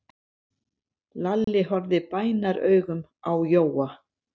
Lalli horfði bænaraugum á Jóa.